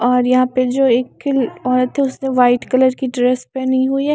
और यहाँ पे जो एक किल औरत है उसने वाइट कलर की ड्रेस पहनी हुई है।